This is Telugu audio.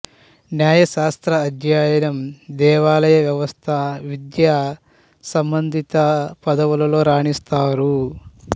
న్యాయశాస్త్ర అధ్యయనం దేవాలయ వ్యవస్థ విద్యా సంబదిత పదవులలో రాణిస్తారు